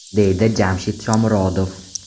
deydi Jamshid Shomurodov.